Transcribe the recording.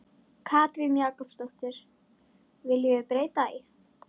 Katrín Jakobsdóttir: Viljum við breyta því?